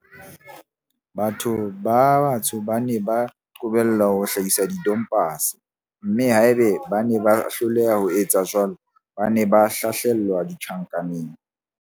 Batho ba batsho ba ne ba qobellwa ho hlahisa tompase, mme haeba bane ba hloleha ho etsa jwalo, ba ne ba hlahlelwa tjhankaneng.